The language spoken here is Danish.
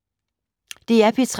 DR P3